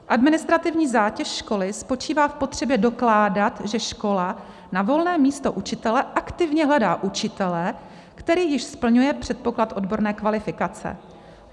Administrativní zátěž školy spočívá v potřebě dokládat, že škola na volné místo učitele aktivně hledá učitele, který již splňuje předpoklad odborné kvalifikace.